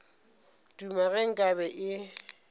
duma ge nka be e